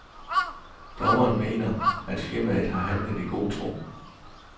Dommeren mener, at firmaet har handlet i god tro.